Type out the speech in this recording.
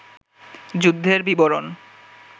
যুদ্ধের বিবরণ